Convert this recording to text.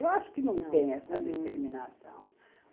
Eu acho que não tenho essa determinação.